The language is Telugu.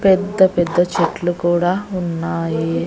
పెద్ద పెద్ద చెట్లు కూడా ఉన్నాయి.